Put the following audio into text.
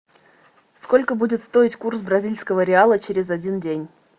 сколько будет стоить курс бразильского реала через один день